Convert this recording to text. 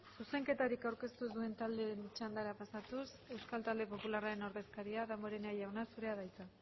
zuzenketarik aurkeztu ez duen taldeen txandara pasatuz euskal talde popularraren ordezkaria damborenea jauna zurea da hitza